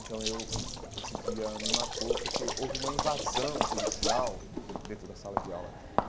Então eu, esse dia me marcou porque houve uma invasão policial dentro da sala de aula.